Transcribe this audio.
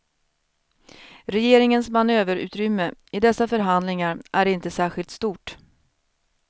Regeringens manöverutrymme i dessa förhandlingar är inte särskilt stort.